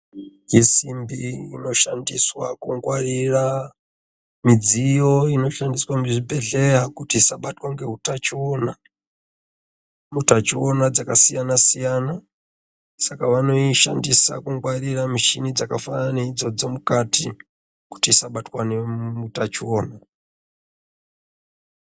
Mudziyo yesimbi inoshandiswa kungwarira midziyo inoshandiswa muzvibhehleya kuti isabatwa ngeutachiona. Utachiwona dzakasiyana -siyana. Saka vanoishandisa kungwarira mishini dzakafanana neidzodzo mukati kuti isabatwe ngeutachiwona.